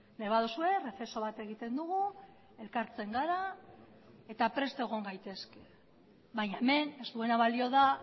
nahi baduzue errezeso bat egiten dugu elkartzen gara eta prest egon gaitezke baina hemen ez duena balio da